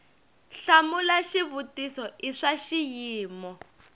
hlamula xivutiso i swa xiyimo